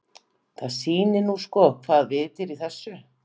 Það sýnir nú sko hvaða vit er í þessu.